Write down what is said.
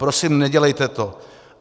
Prosím, nedělejte to.